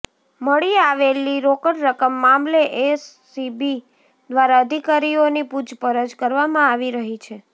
મળી આવેલી રોકડ રકમ મામલે એસીબી દ્વારા અધિકારીઓની પુછપરછ કરવામાં આવી રહી છે